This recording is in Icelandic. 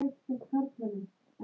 Allt sagði hann.